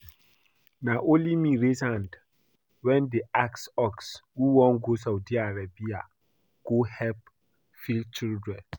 Na only me raise hand when dem ask us who wan go Saudi Arabia go help feed children